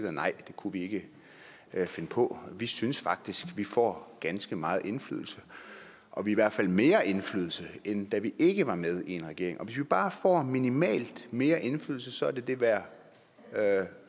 at nej det kunne vi ikke finde på vi synes faktisk at vi får ganske meget indflydelse og i hvert fald mere indflydelse end da vi ikke var med i en regering og hvis vi bare får minimalt mere indflydelse så er det det værd